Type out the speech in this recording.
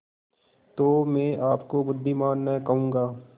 तो मैं आपको बुद्विमान न कहूँगा